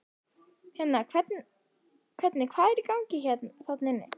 Hérna hvernig, hvað er í gangi þarna inni?